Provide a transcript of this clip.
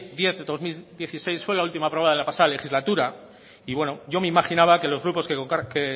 diez barra dos mil dieciséis fue la última aprobada en la pasada legislatura y yo me imaginaba que los grupos que